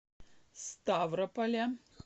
ставрополя